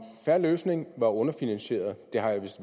fair løsning er underfinansieret